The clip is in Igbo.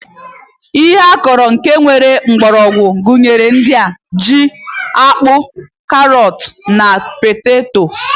Ihe ọkụkọ nke nwere mgbọrọgwụ gụnyere ndị a: ji, akpu, karọt na poteto.